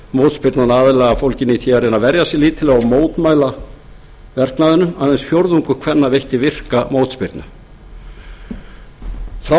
mótspyrnan aðallega fólgin í því að reyna að verja sig sig lítillega og mótmæla verknaðinum aðeins fjórðungur kvenna veitti virka mótspyrnu frá því er greint